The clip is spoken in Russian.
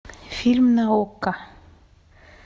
фильм на окко